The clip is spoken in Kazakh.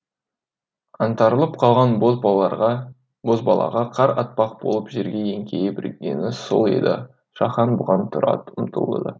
аңтарылып қалған бозбалаға қар атпақ болып жерге еңкейе бергені сол еді шахан бұған тұра ұмтылды